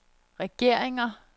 regeringer